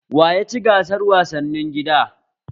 Wa ya ci gasar wasannin gida?